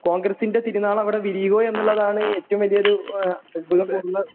കോൺഗ്രസിൻറെ തിരിനാളം അവിടെ വിരിയുവോ എന്നുള്ളതാണ് ഏറ്റവും വലിയ ഒരു ഏഹ് അത്ഭുതം തോന്നുന്നത്.